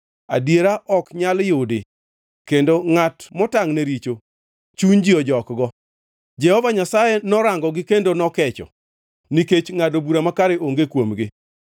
Adiera ok nyal yudi, kendo ngʼat motangʼ ne richo chuny ji ojokgo. Jehova Nyasaye norangogi kendo nokecho nikech ngʼado bura makare onge kuomgi.